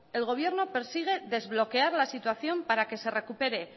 el gobierno persigue desbloquear la situación para que se recupere